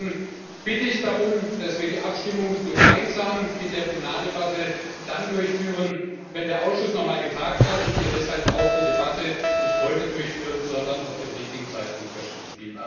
Deswegen bitte ich darum, dass wir die Abstimmung gemeinsam mit der Plenardebatte dann durchführen, wenn der Ausschuss noch mal getagt hat, und wir deshalb auch die Debatte nicht heute durchführen, sondern auf den richtigen Zeitpunkt verschieben.